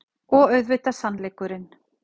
Og auðvitað sannleikurinn.